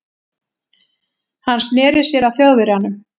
Hann sneri sér að Þjóðverjanum.